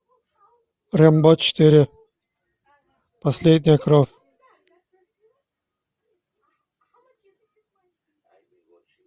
рэмбо четыре последняя кровь